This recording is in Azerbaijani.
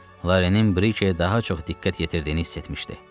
Laranın Brijeyə daha çox diqqət yetirdiyini hiss etmişdi.